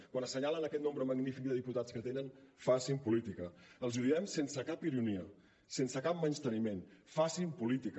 quan assenyalen aquest nombre magnífic de diputats que tenen facin política els hi ho diem sense cap ironia sense cap menysteniment facin política